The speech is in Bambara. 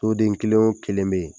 Soden kelen o kelen bɛ ye.